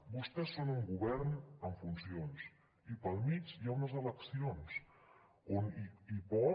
vostès són un govern en funcions i pel mig hi ha unes eleccions on hi pot